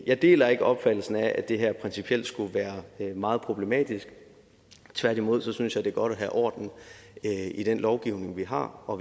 jeg deler ikke opfattelsen af at det her principielt skulle være meget problematisk tværtimod synes jeg det er godt at have orden i den lovgivning vi har og